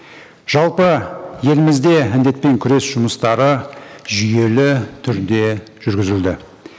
жалпы елімізде індетпен күрес жұмыстары жүйелі түрде жүргізілді